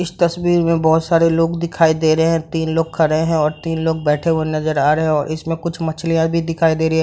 इस तस्वीर में बहोत सारे लोग दिखाई दे रहे है तीन लोग खड़े है और तीन लोग बैठे हुए नजर आ रहे है और इसमें कुछ मछलियाँ भी दिखाई दे रही है।